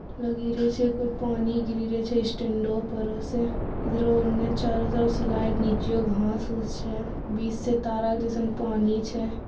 लगी रहे छै कोय पानी गिरी रहे छै स्टेंडो पड़ो से इधर अन्ने चारो तरफ से लाइट नीचियों घास उस छै बीच से तार आर जाका पानी छै।